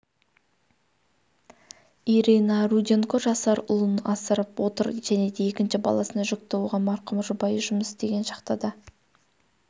ирина руденко жасар ұлын асырап отыр жәнеде екінші баласына жүкті оған марқұм жұбайы жұмыс істеген шахтада